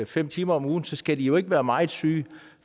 fem timer om ugen så skal de jo ikke være meget syge